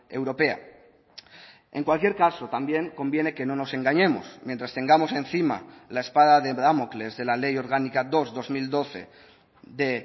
europea en cualquier caso también conviene que no nos engañemos mientras tengamos encima la espada de damocles de la ley orgánica dos barra dos mil doce de